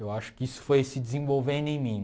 Eu acho que isso foi se desenvolvendo em mim.